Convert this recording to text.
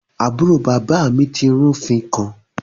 Aburo baba mi ti rufin kan